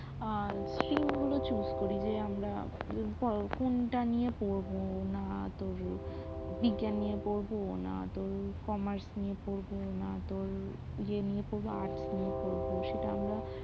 পছন্দ মতো stream গুলো choose করি আমরা কোনটা নিয়ে পড়বো না তোর বিজ্ঞান নিয়ে পড়বো না তোর commarce নিয়ে পড়বো না তোর এমনি arts নিয়ে পড়বো